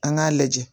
An k'a lajɛ